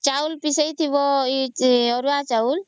ଚାଉଳ ପେସେଇଥିବା ଏ ଅରୁଆ ଚାଉଳ